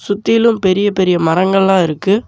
சுத்திலு பெரிய பெரிய மரங்கள்ல்லா இருக்கு.